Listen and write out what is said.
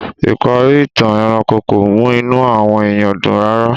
Ìparí ìtàn ẹranko kò mú inù àwọn èèyàn dùn rárá